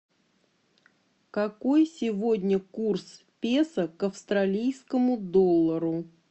какой сегодня курс песо к австралийскому доллару